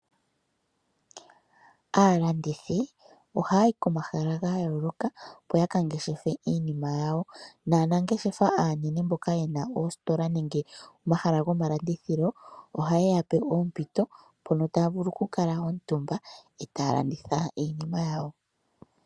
Aalandithi oha yayi ko mahala ga yooloka opo yaka ngeshefe iinima yawo, naanangeshefa aanene mboka yena oositola nenge omahala goma landithilo oha ye yape oompito mpono taya vulu oku kala omutumba e taya landitha iinima yawo.